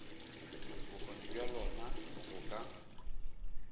bokgoni bja lona go ka